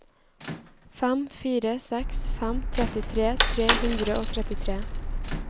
fem fire seks fem trettitre tre hundre og trettitre